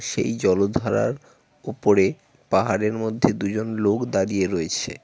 সেই জলধারার উপরে পাহাড়ের মধ্যে দুজন লোক দাঁড়িয়ে রয়েছে।